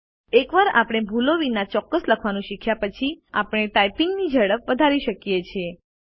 એકવાર આપણે ભૂલો વિના ચોક્કસ લખવાનું શીખ્યા પછી આપણે ટાઇપિંગ ઝડપ વધારી શકીએ છીએ